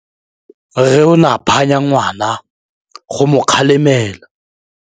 Rre o ne a phanya ngwana go mo galemela.